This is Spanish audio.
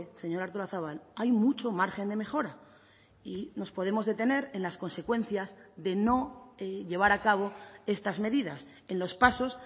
señora artolazabal hay mucho margen de mejora y nos podemos detener en las consecuencias de no llevar a cabo estas medidas en los pasos